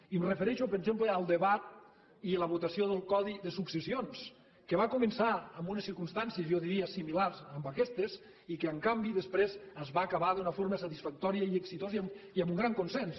i em refereixo per exemple al debat i la votació del codi de successions que va començar en unes circumstàncies jo diria similars a aquestes i que en canvi després es va acabar d’una forma satisfactòria i exitosa i amb un gran consens